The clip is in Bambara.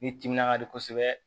Ni timinan ka di kosɛbɛ